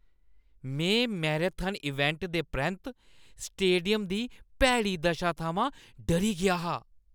में marathon event दे परैंत्त स्टेडियम दी भैड़ी दशा थमां डरी गेआ हा ।